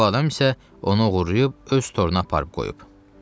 Bu adam isə onu oğurlayıb öz toruna aparıb qoyub.